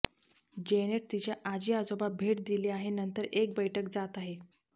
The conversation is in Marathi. जेनेट तिच्या आजी आजोबा भेट दिली आहे नंतर एक बैठक जात आहे